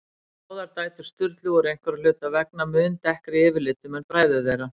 Báðar dætur Sturlu voru einhverra hluta vegna mun dekkri yfirlitum en bræður þeirra.